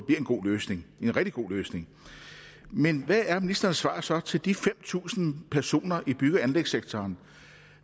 en god løsning en rigtig god løsning men hvad er ministerens svar så til de fem tusind personer i bygge og anlægssektoren